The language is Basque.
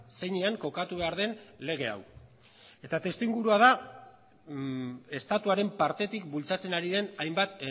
zeinean kokatu behar den lege hau eta testu ingurua da estatuaren partetik bultzatzen ari den hainbat